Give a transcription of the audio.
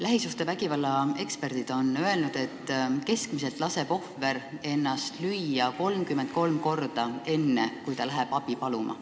Lähisuhtevägivalla eksperdid on öelnud, et keskmiselt laseb ohver ennast lüüa 33 korda, enne kui ta läheb abi paluma.